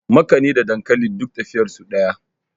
makani da dankali duk tafiyar su daya